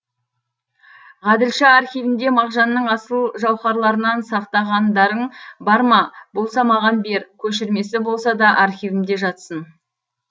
ғаділша архивіңде мағжанның асыл жаухарларынан сақтағандарың бар ма болса маған бер көшірмесі болса да архивімде жатсын